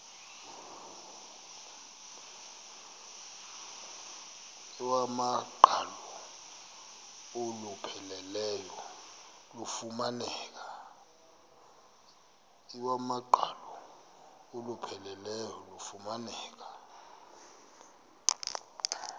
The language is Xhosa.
iwamaqhalo olupheleleyo lufumaneka